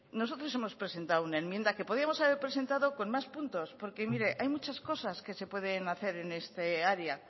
nosotros hemos presentado una enmienda que podíamos haber presentado con más puntos porque mire hay muchas cosas que se pueden hacer en esta área